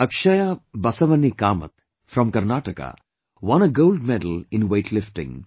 Akshaya Basavani Kamat, from Karnataka won a gold medal in weightlifting